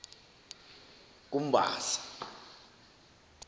kumbasa